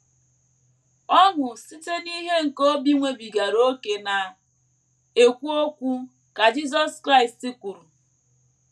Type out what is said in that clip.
“ Ọnụ site n’ihe nke obi nwebigaara ókè na - ekwu okwu, ” ka Jisọs Kraịst kwuru.